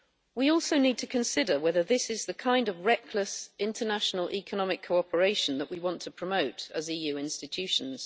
We also need to consider whether this is the kind of reckless international economic cooperation that we want to promote as EU institutions.